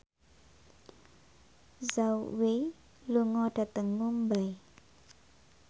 Zhao Wei lunga dhateng Mumbai